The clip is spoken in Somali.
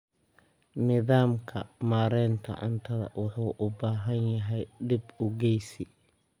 Nidaamka maareynta cunnada wuxuu u baahan yahay dib u eegis.